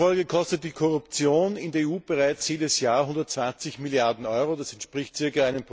Schätzungen zufolge kostet die Korruption in der EU bereits jedes Jahr 120 Milliarden Euro, das entspricht ca.